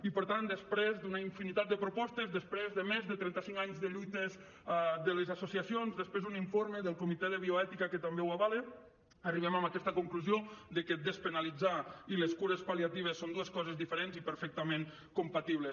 i per tant després d’una infinitat de propostes després de més de trenta cinc anys de lluites de les associacions després d’un informe del comitè de bioètica que també ho avala arribem a aquesta conclusió de que despenalitzar i les cures pal·liatives són dues coses diferents i perfectament compatibles